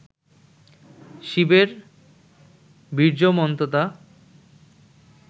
শিবের বীর্যমন্ততা